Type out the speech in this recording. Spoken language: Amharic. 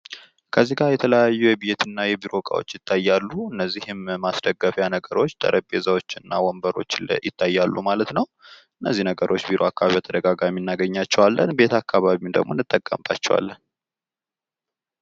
ከዚህጋ የተለያዩ የቤትና የቢሮ እቃዎች ይታያሉ። እነዚህም ማስደገፊያ ነገሮች ጠረቤዛዎችና ወንበሮች ይታያሉ ማለት ነው። እነዚህ ነገሮች ቢሮ አካባቢ በተደጋጋሚ እናገኛቸዋለን ቤት አካባቢም ደሞ እንጠቀምባቸዋለን።